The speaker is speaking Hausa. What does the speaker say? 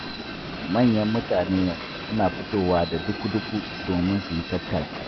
Manyan mutane yanzu suna fitowa da duku-duku domin su yi tattaki.